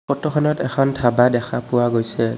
ফটোখনত এখন ধাবা দেখা পোৱা গৈছে।